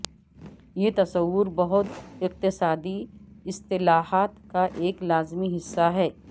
یہ تصور بہت اقتصادی اصطلاحات کا ایک لازمی حصہ ہے